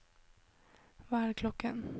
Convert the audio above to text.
hva er klokken